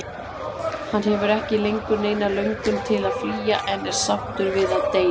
Hann hefur ekki lengur neina löngun til að flýja, en er sáttur við að deyja.